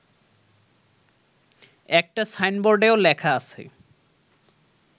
একটা সাইনবোর্ডেও লেখা আছে